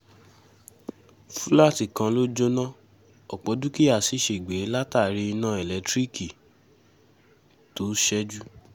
fúláàtì kan ló jóná ọ̀pọ̀ dúkìá sí ṣègbè látàrí iná elétíríìkì tó ṣẹ́jú